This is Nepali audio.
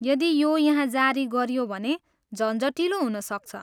यदि यो यहाँ जारी गरियो भने झन्झटिलो हुनसक्छ।